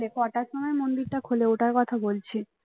কটার সময় মন্দিরটা খোলে ওটার কথা বলছি